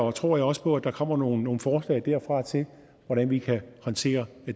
og tror jeg også på at der kommer nogle forslag derfra til hvordan vi kan håndtere